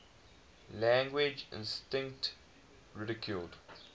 language instinct ridiculed